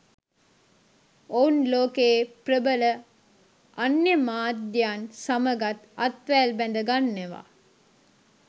ඔවුන් ලෝකයේ ප්‍රබල අන්‍ය මාධ්‍යයන් සමගත් අත්වැල් බැඳගන්නවා